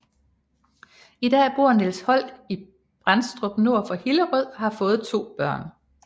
I dag bor Niels Holck i Bendstrup nord for Hillerød og har fået to børn